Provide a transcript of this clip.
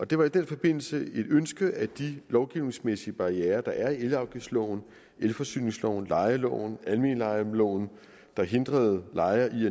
det var i den forbindelse et ønske at de lovgivningsmæssige barrierer der er i elafgiftsloven elforsyningsloven lejeloven og almen lejeloven der hindrede lejere i